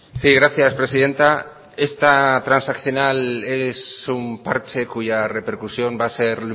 sí gracias presidenta esta transaccional es un parche cuya repercusión va a ser